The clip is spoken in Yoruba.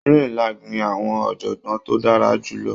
Unilag ní àwọn ọ̀jọ̀gbọ́n tó dára jù lọ.